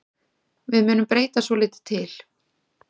Við munum breyta svolítið til.